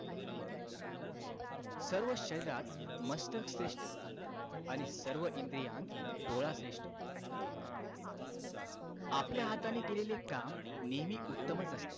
सर्व शरीरात मस्तक श्रेष्ठ आणि सर्व इंद्रियात डोळा श्रेष्ठ आपल्या हाताने केलेले काम नेहमी उत्तमच असते